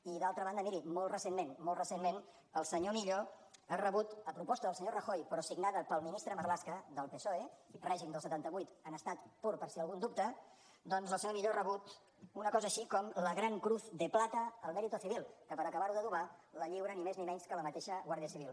i d’altra banda miri molt recentment molt recentment el senyor millo ha rebut a proposta del senyor rajoy però signada pel ministre marlaska del psoe règim del setanta vuit en estat pur per si algú en dubta doncs el senyor millo ha rebut una cosa així com la gran cruz de plata al mérito civil que per acabar ho d’adobar la lliura ni més ni menys que la mateixa guàrdia civil